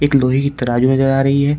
लोहे की तराजू नजर आ रही है।